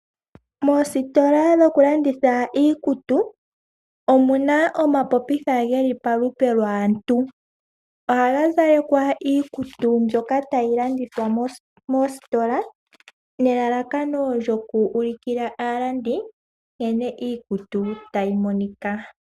Moositola dhoku landitha iikutu omuna omapopitha geli palupe lwaantu. Ohagazalekwa iikutu mbyoka tayi landitha moositola nelalakano lyoku ulukila aalandi nkene iikutu tayi monika.